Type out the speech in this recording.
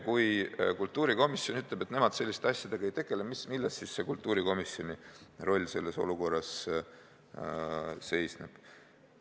Kui kultuurikomisjon ütleb, et nemad selliste asjadega ei tegele, siis milles kultuurikomisjoni roll selles olukorras seisneb?